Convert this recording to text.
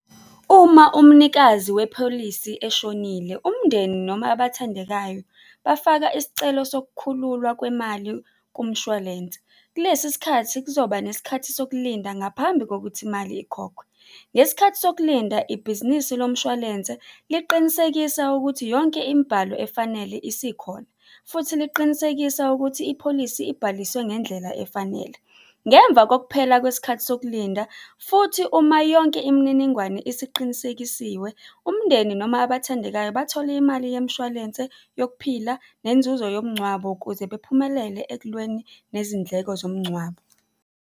Uma umnikazi wepholisi eshonile, umndeni noma abathandekayo bafaka isicelo sokukhululwa kwemali kumshwalense. Kulesi sikhathi kuzoba nesikhathi sokulinda ngaphambi kokuthi imali ikhokhwe. Ngesikhathi sokulinda, ibhizinisi lomshwalense liqinisekisa ukuthi yonke imibhalo efanele isikhona futhi liqinisekisa ukuthi ipholisi ibhaliswe ngendlela efanele. Ngemva kokuphela kwesikhathi sokulinda, futhi uma yonke imininingwane isiqinisekisiwe, umndeni noma abathandekayo bathola imali yemshwalense yokuphila nenzuzo yomngcwabo ukuze bephumelele ekulweni nezindleko zomngcwabo.